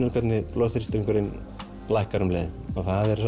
blóðþrýstingurinn lækkar um leið það er